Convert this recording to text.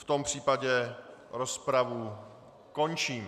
V tom případě rozpravu končím.